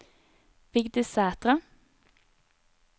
Vigdis Sæthre